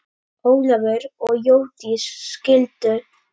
Ólafur og Jódís skildu.